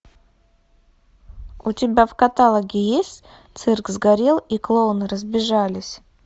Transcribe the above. у тебя в каталоге есть цирк сгорел и клоуны разбежались